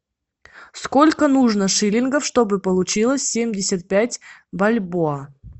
сколько нужно шиллингов чтобы получилось семьдесят пять бальбоа